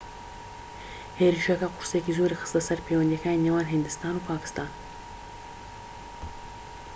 هێرشەکە قورسییەکی زۆری خستە سەر پەیوەندیەکانی نێوان هیندستان و پاکستان